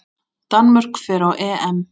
Danmörk fer á EM.